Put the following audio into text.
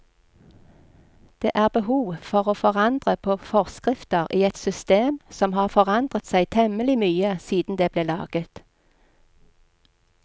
Det er behov for å forandre på forskrifter i et system som har forandret seg temmelig mye siden det ble laget.